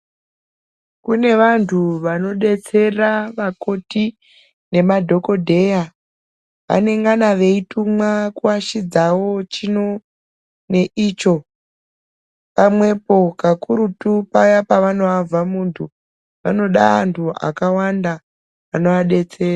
Kune vantu vanodetsera vakoti nemadhokodheya. Anengana veitumwa kuashidzawo chino neicho pamwepo, kakurutu paya paanoavha muntu. Vanoda antu akawanda anovadetsera.